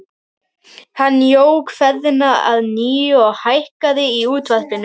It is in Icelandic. Hann jók ferðina að nýju og hækkaði í útvarpinu.